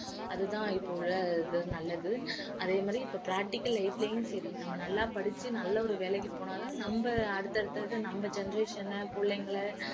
அது தான் இப்ப உள்ள இது நல்லது அதே மாதிரி இப்ப practical life லயும் சரி நம்ம நல்லா படிச்சு நல்ல ஒரு வேலைக்கு போனா தான் நம்ம அடுத்த அடுத்த இது நம்ம generation அ புள்ளைங்கள